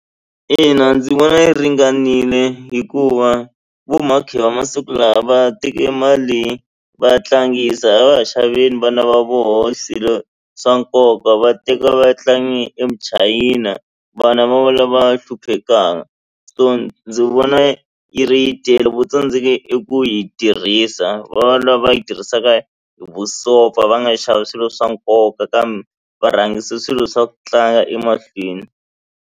Ina ndzi vona yi ringanile hikuva vo mhakhi va masiku lawa va teke mali va tlangisa a va ha xaveli vana va vona swilo swa nkoka va teka va ya tlangi e muchayina vana va va lava hluphekaka so ndzi vona yi ri yi tele vo tsandzeke i ku yi tirhisa va lava yi tirhisaka vusopfa va nga xavi swilo swa nkoka kambe va rhangisa swilo swa ku tlanga emahlweni.